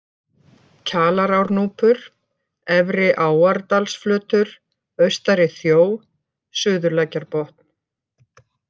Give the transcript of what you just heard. Kjalarárnúpur, Efri-Áardalsflötur, Austari-Þjó, Suðurlækjarbotn